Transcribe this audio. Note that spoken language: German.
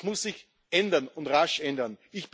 Das muss sich ändern und rasch ändern.